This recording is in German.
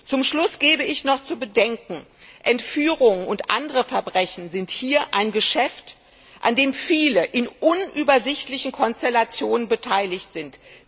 Zum Schluss gebe ich noch zu bedenken Entführungen und andere Verbrechen sind hier ein Geschäft, an dem viele in unübersichtlichen Konstellationen beteiligt sind.